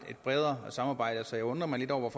bredere samarbejde så jeg undrer mig lidt over